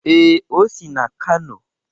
Ee, o si n'Kano.